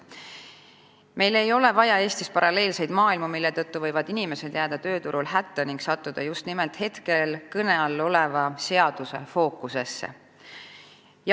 Meil ei ole vaja Eestis paralleelseid maailmu, mille tõttu võivad inimesed jääda tööturul hätta ning sattuda just nimelt hetkel kõne all oleva seaduse fookusesse.